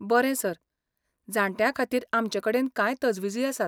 बरें सर, जाण्ट्यां खातीर आमचे कडेन कांय तजविजी आसात.